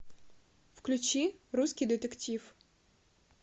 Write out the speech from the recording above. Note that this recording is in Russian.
включи русский детектив